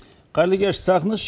қайырлы кеш сағыныш